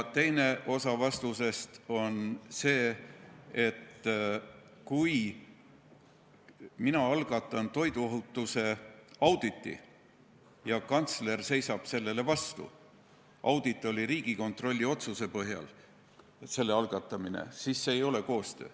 Teine osa vastusest on see, et kui mina algatan toiduohutuse auditi ja kantsler seisab sellele vastu – auditi algatamine toimus Riigikontrolli otsuse põhjal –, siis see ei ole koostöö.